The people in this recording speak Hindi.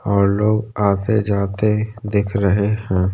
और लोग आते-जाते दिख रहे हैं।